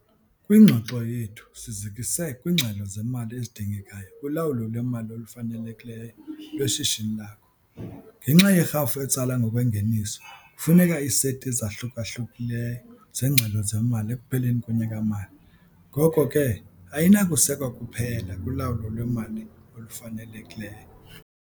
Kwingxoxo yethu sizikise kwiingxelo zemali ezidingekayo kulawulo lwemali olufanelekileyo lweshishini lakho. Ngenxa yerhafu etsalwa ngokwengeniso kufuneka iiseti ezahluka-hlukileyo zeengxelo zemali ekupheleni konyaka-mali ngoko ke ayinakusekwa kuphela kulawulo lwemali olufanelekileyo.